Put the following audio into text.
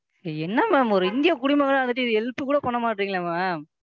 என்ன Ma'am? ஒரு இந்தியக் குடிமகனா இருந்துட்டு இது Help கூட பண்ண மாட்டீங்குரீங்களே Ma'am,